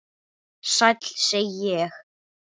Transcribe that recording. Sæll, segi ég.